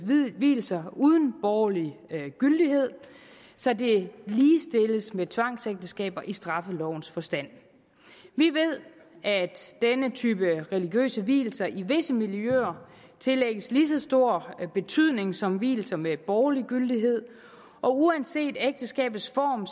vielser uden borgerlig gyldighed så det ligestilles med tvangsægteskaber i straffelovens forstand vi ved at denne type religiøse vielser i visse miljøer tillægges lige så stor betydning som vielser med borgerlig gyldighed og uanset ægteskabets form